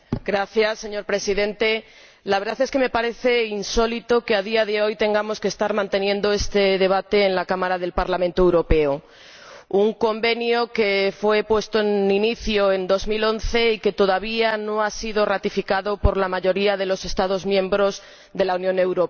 Señor Presidente, la verdad es que me parece insólito que, a día de hoy, tengamos que estar manteniendo este debate en el Parlamento Europeo, sobre un Convenio que data de 2011 y que todavía no ha sido ratificado por la mayoría de los Estados miembros de la Unión Europea.